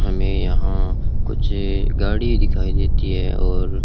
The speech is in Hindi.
हमें यहां कुछ गाड़ी दिखाई देती है और--